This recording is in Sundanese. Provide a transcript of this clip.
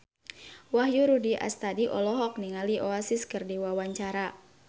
Wahyu Rudi Astadi olohok ningali Oasis keur diwawancara